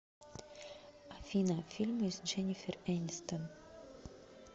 афина фильмы с дженифер энистон